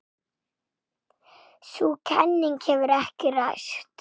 Sú kenning hefur ekki ræst.